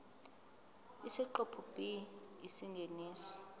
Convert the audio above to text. isiqephu b isingeniso